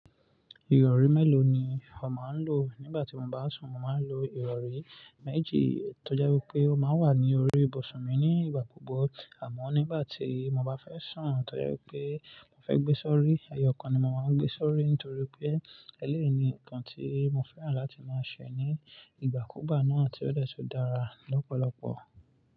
Ìrọ̀rí mélòó ni ò máa ń lò? Nígbà tí mo bá sùn, mo máa ń lo ìrọ̀rí méjì tó jẹ́ wí pé ó máa wà ní orí ibùsùn mi ní ìgbà gbogbo àmọ́ nígbà tí mo bá fẹ́ sùn tó jẹ́ wí pé mo fẹ́ gbé sọ́rí, ẹyọ kan ni mo máa ń gbé sọ́rí nítorí pé eléèyi nǹkan tí mo fẹ́ràn láti máa ṣe ní ìgbàkúùgbà náà tí ó dẹ́ tùn dára lọ́pọ̀lọpọ̀.